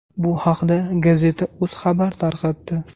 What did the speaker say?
Bu haqda gazeta.uz xabar tarqatdi.